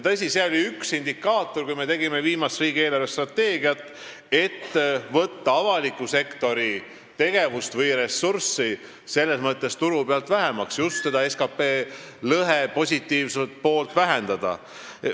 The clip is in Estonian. Tõsi, üks indikaator oli, kui me tegime viimast riigi eelarvestrateegiat, võtta avaliku sektori tegevust või ressurssi turu pealt vähemaks selles mõttes, et just SKT lõhe positiivset poolt vähendada.